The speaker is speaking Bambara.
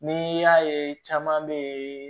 Ni y'a ye caman bɛ yen